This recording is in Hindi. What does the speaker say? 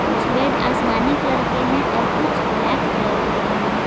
कुछ बेड आसमानी कलर के हैं और कुछ ब्लैक कलर के हैं।